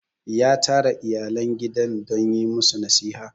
ya tara iyalan gidan don yi musu nasiha